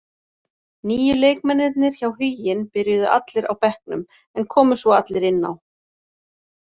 Nýju leikmennirnir hjá Huginn byrjuðu allir á bekknum, en komu svo allir inn á.